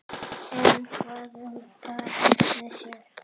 En hvað um barnið sjálft?